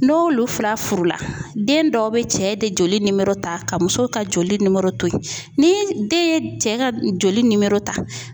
N'o olu fila furu la, den dɔw bɛ cɛ de joli nimoro ta ka muso ka joli nimoro to yen ni den ye cɛ ka joli nimoro ta